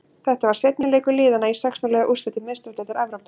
Þetta var seinni leikur liðana í sextán liða úrslitum Meistaradeildar Evrópu.